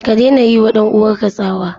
Ka daina yiwa ɗan uwanka tsawa!